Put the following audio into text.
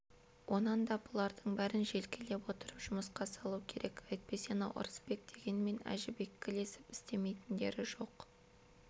онан да бұлардың бәрін желкелеп отырып жұмысқа салу керек әйтпесе анау ырысбек деген мен әжібекке ілесіп істемейтіндері жоқ